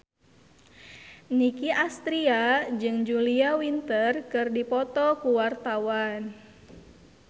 Nicky Astria jeung Julia Winter keur dipoto ku wartawan